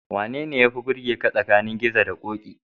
Wanene yafi burgaka tsakanin Gizo da Ƙoƙi?